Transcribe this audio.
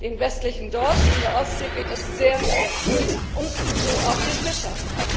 Dem westlichen Dorsch in der Ostsee geht es sehr schlecht, und so auch den Fischern.